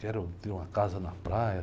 Quero ter uma casa na praia.